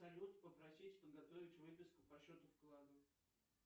салют попросит подготовить выписку по счету вклада